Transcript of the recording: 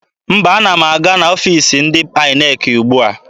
Mba, ana m aga n'ọfiisi ndị INEC ugbua.